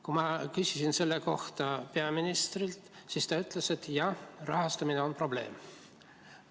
Kui ma küsisin selle kohta peaministrilt, siis ta ütles, et jah, rahastamine on probleem.